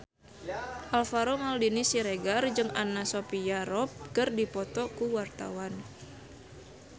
Alvaro Maldini Siregar jeung Anna Sophia Robb keur dipoto ku wartawan